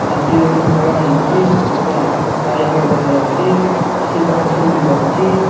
ମାଟିରେ ଗୋଟେ ଖୋଳା ହେଇଛି ଉପରେ ଆକାଶ ସ୍କାଏ କଲର୍ ଦେଖାଯାଉଛି ସେଠି ଗଛ ଗୁଡ଼ିକ ଅଛି।